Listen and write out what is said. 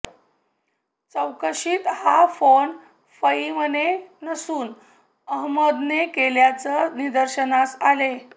चौकशीत हा फोन फईमने नसून अहमदने केल्याचं निदर्शनास आले